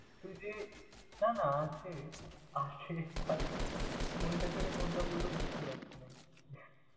তুই যে না না আছে, আছে but কোনটা ছেড়ে কোনটা বলবো বুঝতে পারছি না এই।